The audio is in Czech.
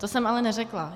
To jsem ale neřekla.